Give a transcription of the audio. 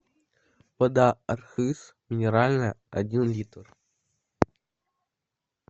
вода архыз минеральная один литр